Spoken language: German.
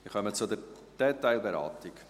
Wir kommen zur Detailberatung.